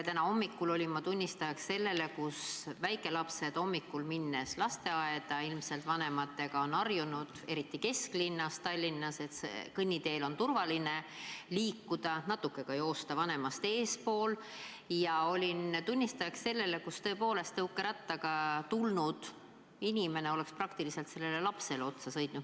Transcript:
Täna hommikul olin ma tunnistajaks sellele – väikelapsed hommikul ilmselt vanematega lasteaeda minnes on harjunud, eriti Tallinna kesklinnas, et kõnniteel on turvaline liikuda, natuke ka jooksevad vanematest eespool –, kui tõukerattaga tulnud inimene oleks praktiliselt lapsele otsa sõitnud.